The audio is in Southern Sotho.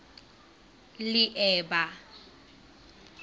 leeba